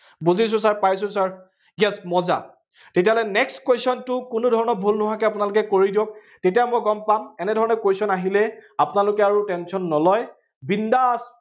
বুজিছো sir পাইছো sir, yes মজ্জা। তেতিয়াহলে next question টো কোনো ধৰণৰ ভুল নোহোৱাকে আপোনালোকে কৰি দিয়ক, তেতিয়া মই গম পাম, এনে ধৰণে question আহিলে আপোনালোকে আৰু tension নলয়। বিন্দাচ